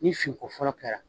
Ni fin ko fɔlɔ kɛra